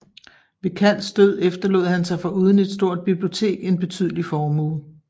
Ved Kalls død efterlod han sig foruden et stort bibliotek en betydelig formue